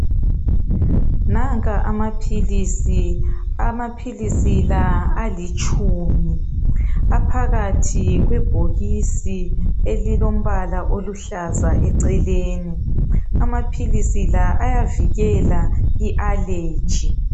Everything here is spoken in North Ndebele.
Nanka amaphilisi , amaphilisi la alitshumi aphakathi kwebhokisi elilombala oluhlaza eceleni amaphilisi la ayavikela I allergy.